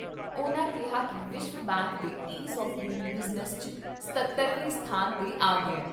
ਉਨ੍ਹਾਂ ਕਿਹਾ ਕਿ ਵਿਸ਼ਵ ਬੈਂਕ ਦੇ ਈਜ਼ ਆਫ਼ ਡੂਇੰਗ ਬਿਜ਼ਨਸ 'ਚ ਸਤੱਤਰਵੇਂ ਸਥਾਨ ਤੇ ਆ ਗਿਆ ।